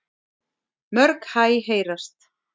Mörg hæ heyrast.